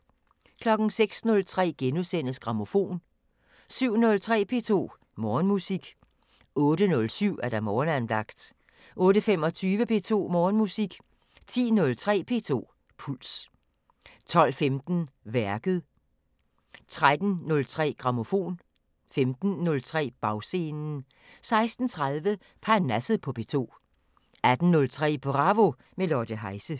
06:03: Grammofon * 07:03: P2 Morgenmusik 08:07: Morgenandagten 08:25: P2 Morgenmusik 10:03: P2 Puls 12:15: Værket 13:03: Grammofon 15:03: Bagscenen 16:30: Parnasset på P2 18:03: Bravo – med Lotte Heise